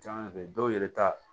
Jaa bɛ dɔw yɛrɛ ta